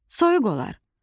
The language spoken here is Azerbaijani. Soyuq olar.